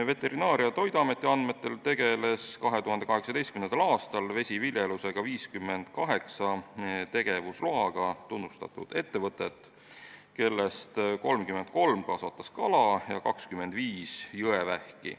Veterinaar- ja Toiduameti andmetel tegeles 2018. aastal vesiviljelusega 58 tegevusloaga ettevõtet, millest 33 kasvatas kala ja 25 jõevähki.